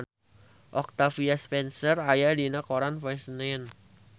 Octavia Spencer aya dina koran poe Senen